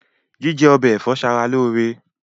Jíjẹ ọbẹ ẹ̀fọ́ ṣara lóore.